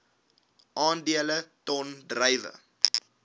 aandele ton druiwe